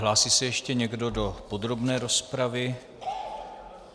Hlásí se ještě někdo do podrobné rozpravy?